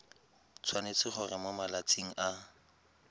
tshwanetse gore mo malatsing a